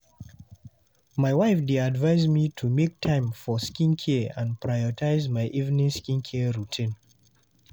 My wife dey advise me to make time for self-care and prioritize my evening skincare routine.